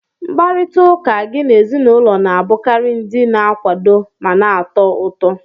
Mkparịta ụka gị na ezinụlọ na-abụkarị ndị na-akwado ma na-atọ ụtọ